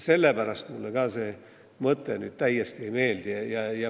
Sellepärast mulle ka see mõte ei meeldi.